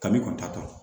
Kabi ta